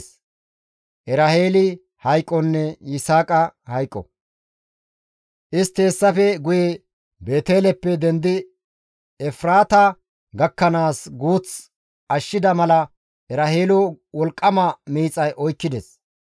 Istti hessafe guye Beeteleppe dendi Efraata gakkanaas guuth ashshida mala Eraheelo wolqqama miixay oykkides.